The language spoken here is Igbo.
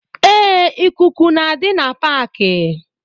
Ee, ịkụkụ na-adi na paaki